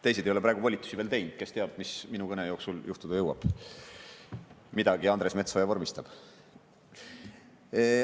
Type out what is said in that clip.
Teised ei ole praegu volitusi veel teinud, kes teab, mis minu kõne jooksul juhtuda jõuab, midagi Andres Metsoja vormistab.